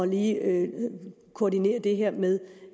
lige at koordinere det her med